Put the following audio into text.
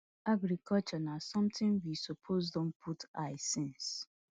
agriculture na somtin we suppose don put eye since